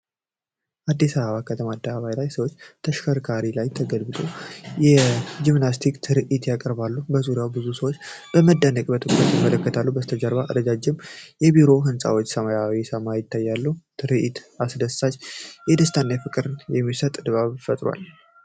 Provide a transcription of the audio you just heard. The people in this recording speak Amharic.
በአዲስ አበባ ከተማ አደባባይ አንድ ሰው በተሽከርካሪ ላይ ተገልብጦ የጂምናስቲክ ትርኢት ያቀርባል። በዙሪያው ብዙ ሰዎች በመደነቅና በትኩረት ይመለከታሉ። ከበስተኋላው ረዣዥም የቢሮ ህንጻዎችና ሰማያዊ ሰማይ ይታያል። ትርኢቱ አስደሳች ደስታንና ፍቅርን የሚሰጥ ድባብ ፈጥሯል።